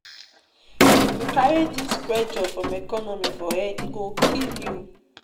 If you carry dis pressure from economy for head, e go kill you.